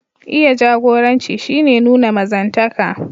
Iya jagoranci shi ke nuna mazantaka.